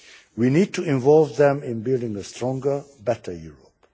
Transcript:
We need to involve them in building a stronger, better Europe.